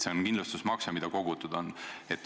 See on kindlustusmakse, mida on kogutud.